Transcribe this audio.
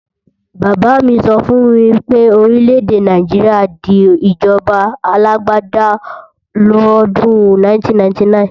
Bàbá mi sọ fún mi pé Orílè-èdè Nàìjíríà di ìjọba alágbáda lọ́dún 1999